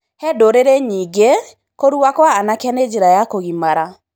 He ndũrĩrĩ nyingĩ, kũrua kwa anake nĩ njĩra ya kũngimara.